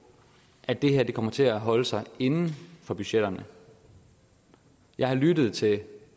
at det her kommer til at holde sig inden for budgetterne jeg har lyttet til